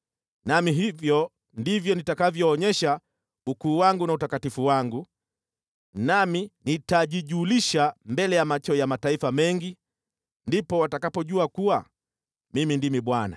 Nami hivyo ndivyo nitakavyoonyesha ukuu wangu na utakatifu wangu, nami nitajijulisha mbele ya macho ya mataifa mengi. Ndipo watakapojua kuwa Mimi ndimi Bwana .’